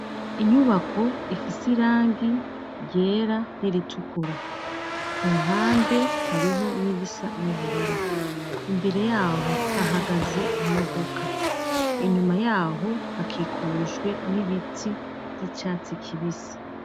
Inyubako ifise irangi ryera n’iritukura ku mpande hariho n'irisa n'ubururu, imbere yaho hahagaze imodoka inyuma yaho hakikujwe n'ibitsi by'icyatsi kibisi.